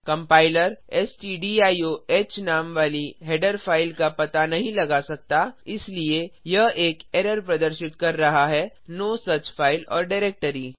compiler स्टडियोह नाम वाली हेडर फाइल का पता नहीं लगा सकता इसलिए यह एक एरर प्रदर्शित कर रहा है no such file or directory